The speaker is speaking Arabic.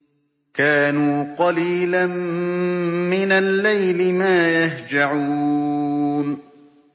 كَانُوا قَلِيلًا مِّنَ اللَّيْلِ مَا يَهْجَعُونَ